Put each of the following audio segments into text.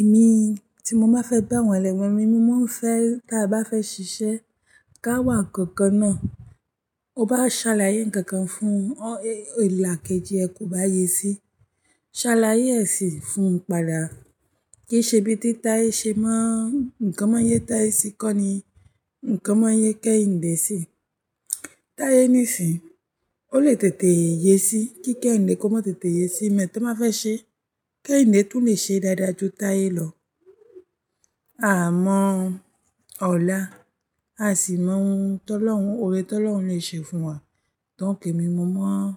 Èmi tí mo bá fẹ́ bá wọn lẹ́wẹ̀ẹ́ mi, mo máa ń fẹ́ tí a bá fẹ́ ṣiṣẹ́ ká wà kankan náà. Ó bá ṣàlàyé ǹkan kan fún ọ, èlàkejì ẹ kò bá yé sí. Ṣàlàyé ẹ̀ sí i fún pàdà. Kí ṣe bí tí tayé ṣe mọ̀ nǹkan náà yé tayé sí kọ́ ni nǹkan máà yé kẹ́hindé sí i. Tayé ní ìsìn, ó lè tètè yé sí i. Kí kẹ́hiǹdé kò mọ tètè yé sí i, mẹ́ tàn báa fẹ́ ṣẹ́. Kẹ́hiǹdé tún lè ṣe dáadáa ju tayé lọ. À mọ́ ọ̀la, a sì máa ń tọ́lọ́hun o. Òore tọ́lọ́hun lè ṣe fún wa. Nítorí èmi mo mọ̀ ọ́n,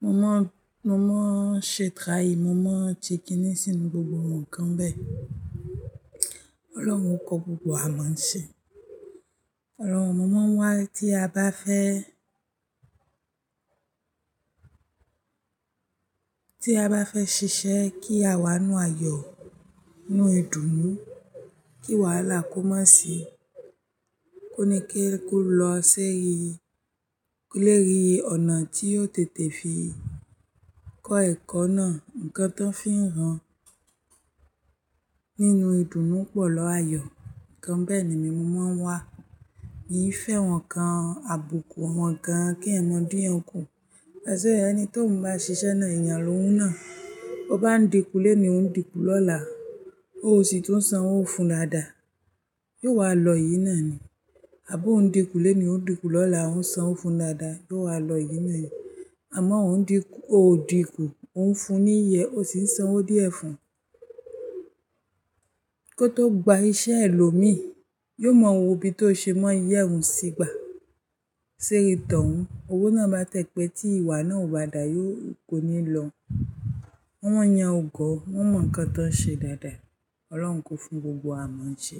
mo mọ̀ ọ́n, mo mọ̀ ọ́n ṣẹ́ traì, mo mọ̀ ọ́n tí kíní sì inú gbogbo ǹkan bẹ́ẹ̀. Ọlọ́run kò gbogbo wà mọ n ṣe. Ọlọ́run, mo mọ̀ wá tí a bá fẹ́, tí a bá fẹ́ ṣiṣẹ́ kí a wà nínú ayọ̀, nínú ìdùnnú, kí wàhálà kó má sì í, kó ni kalukú lọ ṣi, lérí ọ̀nà tí ó tètè fi kọ́ ẹ̀kọ́ náà. Ǹkan tán fi n hàn nínú ìdùnnú pọ̀ lọ ayọ̀. Ǹkan bẹ́ẹ̀ ni mo mọ̀ n wá. Èmi fẹ́ wọn kan àbùkù àwọn ǹkan kí ẹ̀yan mọ́ din yan kù. Pẹ̀sẹ̀ ẹni tó ń bá ṣiṣẹ́ náà eyàn lóhun náà, ó bá ń dínkù léèní, ó ń dínkù lọ́la, ó sì ń sanwó fún ládàá. Yóò wá lọ eyìn náà ni. Àbo ó ń dínkù léèní, ó ń dínkù lọ́la, ó ń sanwó fún daádàá, yóò wá lọ eyní náà ni. Àmọ́ ò n dínkù, ò dínkù, ó ń fún ní ìyi e ó sì ń sanwó díẹ̀ fún un. Kó tó gba iṣẹ́ ẹlòmíì, yóò mọ̀ wo bí tó ṣe mọ́ ìyẹ́ òun sígbà Teri tọ̀ un. Òwo náà bá tẹpẹ́ tí ìwà náà ò bá da, yóò kò ní lọ. Awọ́n eyan ọ̀gọ̀, wọ́n mọ̀ ǹkan tán ṣe dáadáa. Ọlọ́run kò fún gbogbo wà mọ n ṣe.